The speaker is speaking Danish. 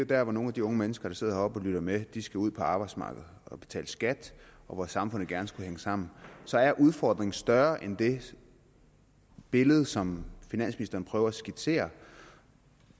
der hvor nogle af de unge mennesker der sidder heroppe og lytter med skal ud på arbejdsmarkedet og betale skat og hvor samfundet gerne skulle hænge sammen så er udfordringen større end det billede som finansministeren prøver at skitsere